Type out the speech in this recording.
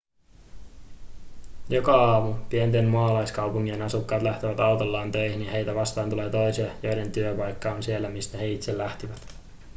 joka aamu pienten maalaiskaupunkien asukkaat lähtevät autollaan töihin ja heitä vastaan tulee toisia joiden työpaikka on siellä mistä he itse lähtivät